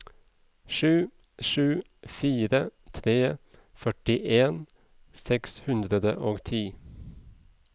sju sju fire tre førtien seks hundre og ti